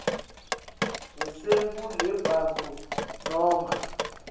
licembu lebantfu noma